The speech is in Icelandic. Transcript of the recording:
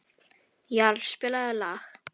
Jarl, spilaðu lag.